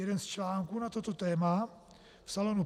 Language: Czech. Jeden z článků na toto téma v Salonu